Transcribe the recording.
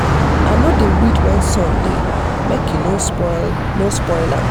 i no dey weed when sun dey make e no spoil no spoil am.